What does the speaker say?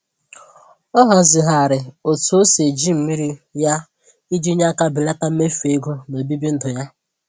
Ọ hazịghari otu o si eji mmiri ya iji nye aka belata mmefu ego n'obibi ndụ ya.